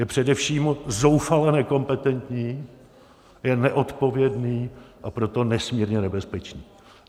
Je především zoufale nekompetentní, je neodpovědný, a proto nesmírně nebezpečný.